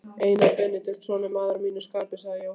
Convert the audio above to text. Einar Benediktsson er maður að mínu skapi, sagði Jóhann.